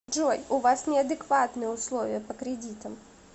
джой у вас неадекватные условия по кредитам